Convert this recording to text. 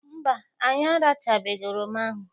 Mba, anyị arachachabeghị oroma ahụ.